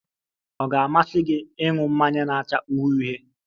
Ọ ga-amasị gị ị ñụ mmanya na-acha uhie uhie?